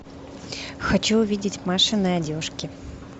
хочу увидеть машины одежки